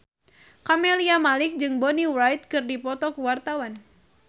Camelia Malik jeung Bonnie Wright keur dipoto ku wartawan